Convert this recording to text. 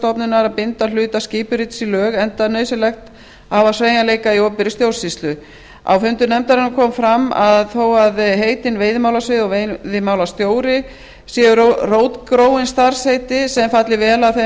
stofnunar að binda hluta skipurits í lög enda nauðsynlegt að hafa sveigjanleika í opinberri stjórnsýslu á fundum nefndarinnar kom fram að þó að heitin veiðimálasvið og veiðimálastjóri séu rótgróin starfsheiti sem falli vel að þeim